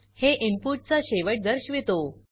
हे इनपुट चा शेवट दर्शवितो